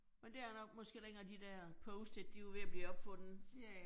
Men det er nok måske dengang de der post-it, de var ved at blive opfundet